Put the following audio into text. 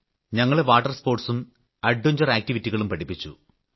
ഞങ്ങളെ വാട്ടർ സ്പോർട്സും സാഹസിക പ്രവർത്തനങ്ങളും പഠിപ്പിച്ചു